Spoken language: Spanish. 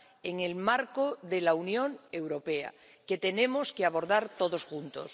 en el marco de la Unión Europea, que tenemos que abordar todos juntos.